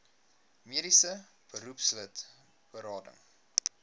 mediese beroepslid berading